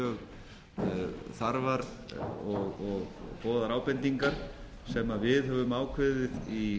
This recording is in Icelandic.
mjög þarfar og góðar ábendingar sem við höfum ákveðið í